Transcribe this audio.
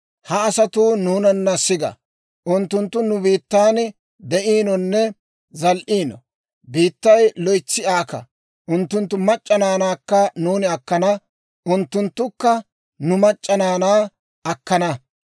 «Ha asatuu nuunana siga; unttunttu nu biittan de'iinonne zal"iino; biittay loytsi aaka. Unttunttu mac'c'a naanaakka nuuni akkana; unttunttukka nu mac'c'a naanaa akkana.